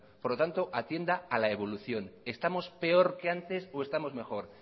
por lo tanto atienda a la evolución estamos peor que antes o estamos mejor